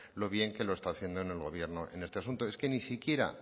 lo bien que lo está haciendo el gobierno en este asunto es que ni siquiera